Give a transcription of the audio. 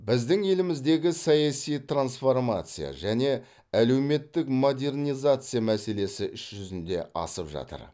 біздің еліміздегі саяси трансформация және әлеуметтік модернизация мәселесі іс жүзіне асып жатыр